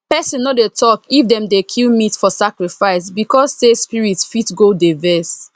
person no dey talk if dem dey kill meat for sacrifice because say spirit fit go dey vex